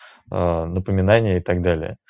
напоминание и такт далее